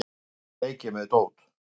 Þar leik ég með dót.